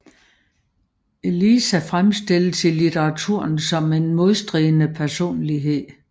Eliza fremstilles i litteraturen som en modstridende personlighed